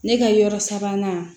Ne ka yɔrɔ sabanan